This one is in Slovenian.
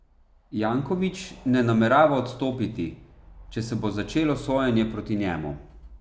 Janković ne namerava odstopiti, če se bo začelo sojenje proti njemu.